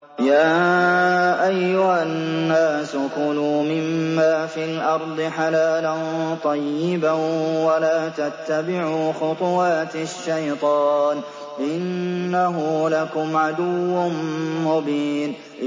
يَا أَيُّهَا النَّاسُ كُلُوا مِمَّا فِي الْأَرْضِ حَلَالًا طَيِّبًا وَلَا تَتَّبِعُوا خُطُوَاتِ الشَّيْطَانِ ۚ إِنَّهُ لَكُمْ عَدُوٌّ مُّبِينٌ